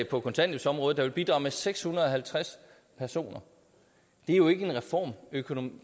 på kontanthjælpsområdet der vil bidrage med seks hundrede og halvtreds personer det er jo ikke en reformbåret økonomi